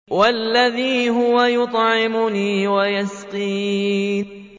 وَالَّذِي هُوَ يُطْعِمُنِي وَيَسْقِينِ